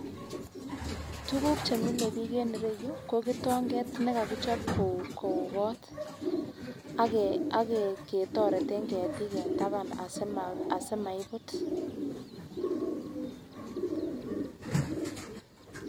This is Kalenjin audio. Tukuk chemile bik en ireyuu ko kitonget nekokichop ko kou kot ak ke aketoreten ketik en taban asimaibut.